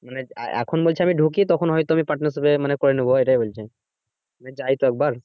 মানে এখন বলছে আমি ঢুকি তখন হয়তো আমি partnership এ মানে করে নেবো এটাই বলছে যাইতো একবার।